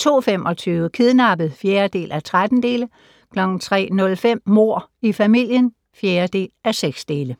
02:25: Kidnappet (4:13) 03:05: Mord i familien (4:6)